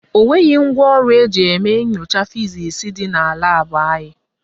O nweghị ngwaọrụ eji eme nyocha fizisi dị na laabụ anyị